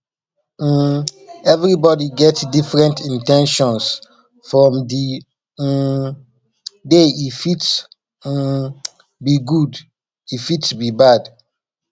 um everybody get different in ten tions from di um day e fit um be good e fit be bad